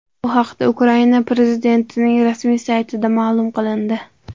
Bu haqda Ukraina prezidentining rasmiy saytida ma’lum qilindi .